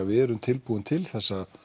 við erum tilbúin til þessa